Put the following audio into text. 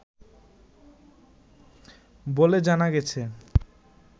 বলে জানা গেছে